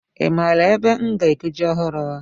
Ị maara ebe m ga-ego ji ọhụrụ?